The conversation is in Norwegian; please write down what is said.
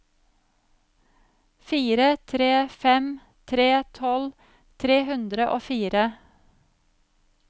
fire tre fem tre tolv tre hundre og fire